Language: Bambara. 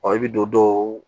i bɛ don dɔw